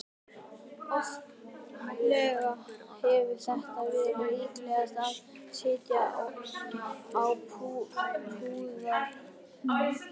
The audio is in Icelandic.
Oftlega hefur þetta verið líkast því að sitja á púðurtunnu.